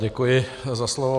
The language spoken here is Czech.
Děkuji za slovo.